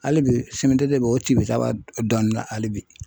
Hali bi CMDT b'o cibicaba dɔɔnin na hali bi.